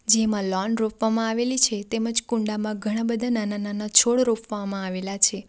જેમાં લૉન રોપવામાં આવેલી છે તેમજ કુંડામાં ઘણા બધા નાના નાના છોડ રોપવામાં આવેલા છે.